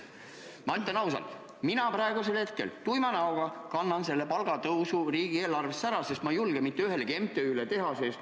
Ma ütlen ausalt, et mina kannan praegu tuima näoga selle palgatõusu riigieelarvesse ära, sest ma ei julge mitte ühelegi MTÜ-le ülekannet teha.